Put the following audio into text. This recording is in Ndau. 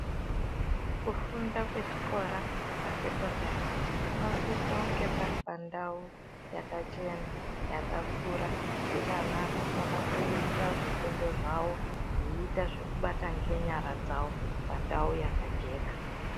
Kufunda kwechikora cheoa sekondari kunosisa kunge pari pandau yakachena, yakakura yekuti ana anokona kuita zvifundo zvavo veiita zvekubata ngenyara dzawo pandau yakajeka.